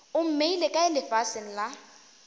o mmeile kae lefaseng la